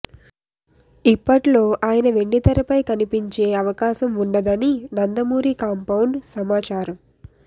ఇప్పట్లో ఆయన వెండితెరపై కనిపించే అవకాశం వుండదని నందమూరి కాంపౌడ్ సమాచారం